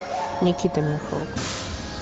никита михалков